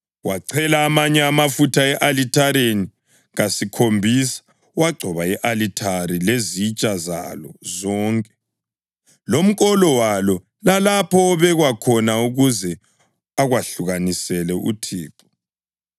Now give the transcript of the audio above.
Wachela amanye amafutha e-alithareni kasikhombisa, wagcoba i-alithari lezitsha zalo zonke, lomkolo walo, lalapho obekwa khona ukuze akwahlukanisele uThixo.